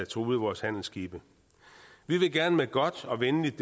truede vores handelsskibe vi vil gerne med godt og venligt